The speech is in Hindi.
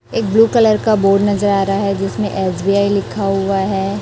एक ब्ल्यू कलर का बोर्ड नजर आ रहा है जिसमे एस_बी_आई लिखा हुआ हैं।